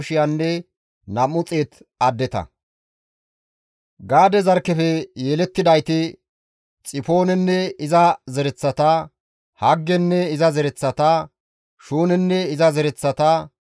Gaade zarkkefe yelettidayti Xifoonenne iza zereththata, Haggenne iza zereththata, Shuunenne iza zereththata,